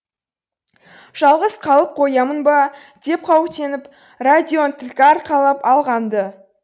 жалғыз қалып қоямын ба деп қауіптеніп радионы түлкі арқалап алған ды